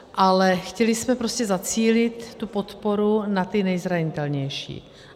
Ale chtěli jsme prostě zacílit tu podporu na ty nejzranitelnější.